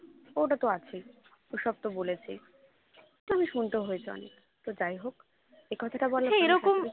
ওটা তো আছেই ওসব তো বলেছে তেমনি শুনতেও হয়েছে অনেক তো যাইহোক এ কথাটা বলার